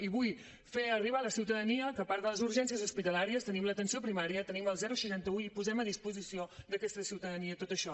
i vull fer arribar a la ciutadania que a part de les urgències hospitalàries tenim l’atenció primària tenim el seixanta un i posem a disposició d’aquesta ciutadania tot això